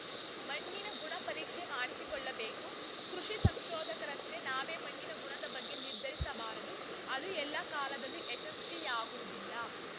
ಮಣ್ಣಿನ ಗುಣಪರೀಕ್ಷೆ ಮಾಡಿಸಿಕೊಳ್ಳಬೇಕು ಕೃಷಿ ಸಂಶೋಧಕರಂತೆ ನಾವೇ ಮಣ್ಣಿನ ಗುಣದ ಬಗ್ಗೆ ನಿರ್ಧರಿಸಬಾರದು ಅದು ಎಲ್ಲ ಕಾಲದಲ್ಲೂ ಯಶಸ್ವಿಯಾಗುವುದಿಲ್ಲ